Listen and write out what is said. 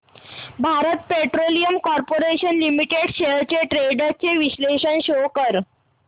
Bharat petroleum corporation limited shares trends चे विश्लेषण show कर